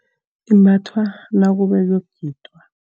Imbathwa nakube kuyokugidwa.